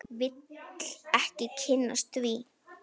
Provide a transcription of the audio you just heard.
Vil ekki kynnast því.